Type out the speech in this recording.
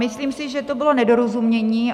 Myslím si, že to bylo nedorozumění.